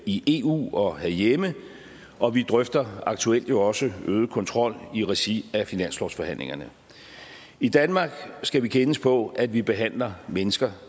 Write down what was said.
i eu og herhjemme og vi drøfter aktuelt jo også øget kontrol i regi af finanslovsforhandlingerne i danmark skal vi kendes på at vi behandler mennesker